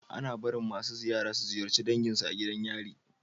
Ana barin masu ziyara su ziyarce dangin su a gidan yari